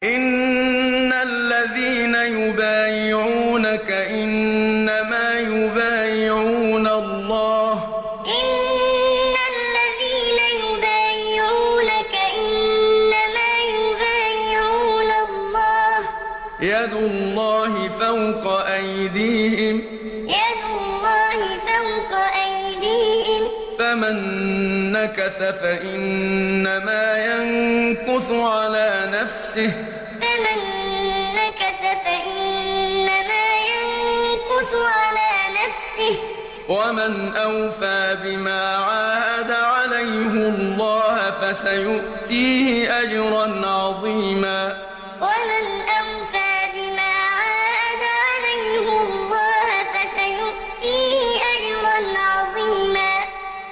إِنَّ الَّذِينَ يُبَايِعُونَكَ إِنَّمَا يُبَايِعُونَ اللَّهَ يَدُ اللَّهِ فَوْقَ أَيْدِيهِمْ ۚ فَمَن نَّكَثَ فَإِنَّمَا يَنكُثُ عَلَىٰ نَفْسِهِ ۖ وَمَنْ أَوْفَىٰ بِمَا عَاهَدَ عَلَيْهُ اللَّهَ فَسَيُؤْتِيهِ أَجْرًا عَظِيمًا إِنَّ الَّذِينَ يُبَايِعُونَكَ إِنَّمَا يُبَايِعُونَ اللَّهَ يَدُ اللَّهِ فَوْقَ أَيْدِيهِمْ ۚ فَمَن نَّكَثَ فَإِنَّمَا يَنكُثُ عَلَىٰ نَفْسِهِ ۖ وَمَنْ أَوْفَىٰ بِمَا عَاهَدَ عَلَيْهُ اللَّهَ فَسَيُؤْتِيهِ أَجْرًا عَظِيمًا